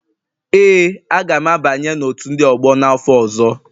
Ee, a ga m abanye na otu ndị ọgbọ n'afọ ọzọ